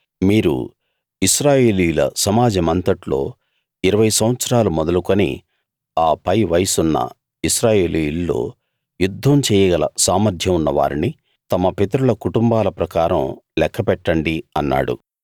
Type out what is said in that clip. మీరు ఇశ్రాయేలీయుల సమాజమంతట్లో 20 సంవత్సరాలు మొదలుకుని ఆ పై వయస్సు ఉన్న ఇశ్రాయేలీయుల్లో యుద్ధం చెయ్యగల సామర్థ్యం ఉన్న వారిని తమ పితరుల కుటుంబాల ప్రకారం లెక్కపెట్టండి అన్నాడు